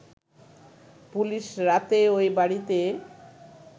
police রাতেই ওই বাড়িতে